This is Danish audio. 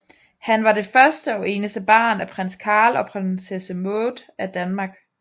Han var det første og eneste barn af Prins Carl og Prinsesse Maud af Danmark